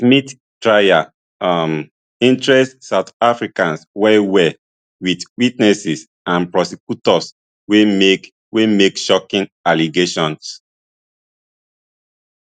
smith trial um interest south africans wellwell with witnesses and prosecutors wey make wey make shocking allegations